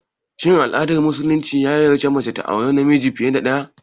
Shin addinin musulumci ya yarda mace ta auri miji fiye da ɗaya?